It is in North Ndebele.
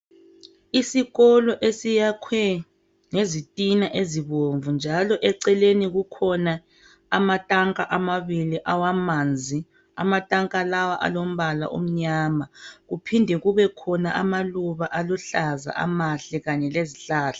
Isikolo esiyakhwe ngezitina ezibomvu njalo eceleni kukhona amatanka amabili awamanzi amatanka lawa alombala omnyama kuphinde kube khona amaluba aluhlaza amahle Kanye lezihlahla